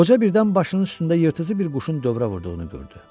Qoca birdən başının üstündə yırtıcı bir quşun dövrə vurduğunu gördü.